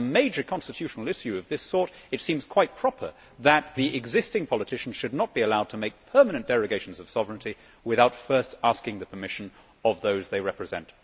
On a major constitutional issue of this sort, it seems quite proper that the existing politicians should not be allowed to make permanent derogations of sovereignty without first asking the permission of those they represent.